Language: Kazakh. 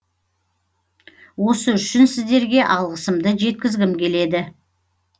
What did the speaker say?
осы үшін сіздерге алғысымды жеткізгім келеді